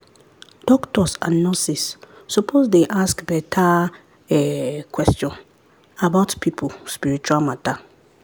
doctors and nurses suppose dey ask better um question about people spiritual matter.